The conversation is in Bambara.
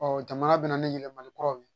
Ɔ jamana bɛ na ni yɛlɛmali kuraw ye